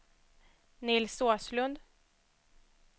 Nils Åslund